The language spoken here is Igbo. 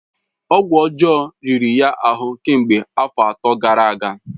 Ọgwụ ọjọọ riri ya ahụ kemgbe afọ atọ gara aga.